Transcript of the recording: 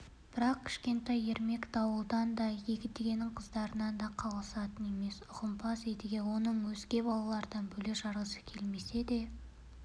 бірақ кішкентай ермек дауылдан да едігенің қыздарынан да қалысатын емес ұғымпаз едіге оны өзге балалардан бөле-жарғысы келмесе де